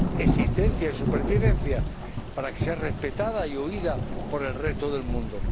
existencia y supervivencia, para que sea respetada y oída por el resto del mundo.